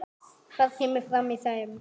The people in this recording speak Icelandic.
Hvað kemur fram í þeim?